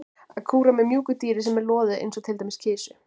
Að kúra með mjúku dýri sem er loðið eins og til dæmis með kisu.